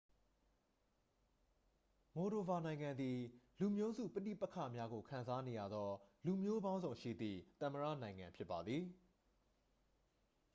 မိုဒိုဗာ နိုင်ငံသည် လူမျိုးစုပဋိပက္ခများကိုခံစားနေရသော လူမျိုးပေါင်းစုံရှိသည့် သမ္မတနိုင်ငံဖြစ်ပါသည်